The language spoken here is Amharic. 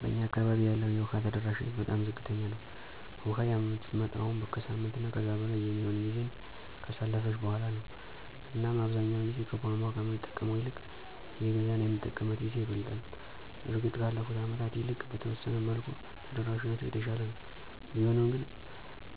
በእኛ አካባቢ ያለው የውሃ ተደራሽነት በጣም ዝቅተኛ ነው። ውሃ የምትመጣውም ከሳምንት እና ከዛ በላይ የሚሆን ጊዜን ካሳለፈች በኋላ ነው እናም አብዛኛውን ጊዜ ከቧንቧ ከምንጠቀመው ይልቅ እየገዛን የምንጠቀምበት ጊዜ ይበልጣል። እርግጥ ከአለፉት አመታት ይልቅ በተወሰነ መልኩ ተደራሽነቱ የተሻለ ነው፤ ቢሆንም ግን